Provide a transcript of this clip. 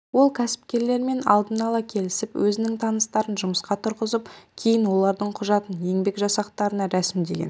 ол кәсіпкерлермен алдын ала келісіп өзінің таныстарын жұмысқа тұрғызып кейін олардың құжатын еңбек жасақтарына рәсімдеген